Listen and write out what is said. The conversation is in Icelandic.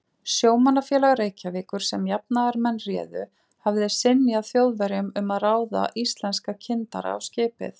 Sjómannafélag Reykjavíkur, sem jafnaðarmenn réðu, hafði synjað Þjóðverjum um að ráða íslenska kyndara á skipið.